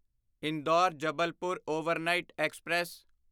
Indore Jabalpur overnight express